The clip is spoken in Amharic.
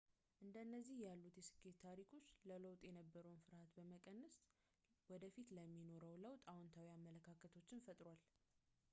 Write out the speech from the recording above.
እንደነዚህ ያሉት የስኬት ታሪኮች ለለውጥ የነበረውን ፍርሃትን በመቀነስ ወደፊቱ ለሚኖረው ለውጥ አዎንታዊ አመለካከቶችን ፈጥሯል